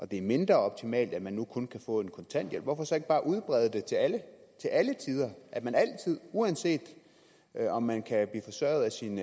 det er mindre optimalt at man nu kun kan få en kontanthjælp hvorfor så ikke bare udbrede det til alle til alle tider at man altid uanset om man kan blive forsørget af sin